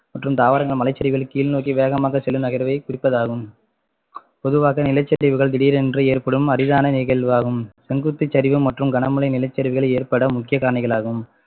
மற்றும் தாவரங்கள் மலைசரிவுகள் கீழ் நோக்கி வேகமாக செல்லும் நகர்வை குறிப்பதாகும் பொதுவாக நிலச்சரிவுகள் திடீரென்று ஏற்படும் அரிதான நிகழ்வாகும் செங்குத்து சரிவு மற்றும் கனமழை நிலச்சரிவுகள் ஏற்பட முக்கிய காரணிகள் ஆகும்